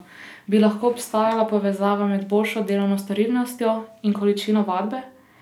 Bi lahko obstaja povezava med boljšo delovno storilnostjo in količino vadbe?